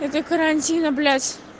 это карантина блядь